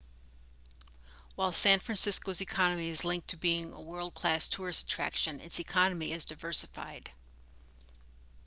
while san francisco's economy is linked to it being a world-class tourist attraction its economy is diversified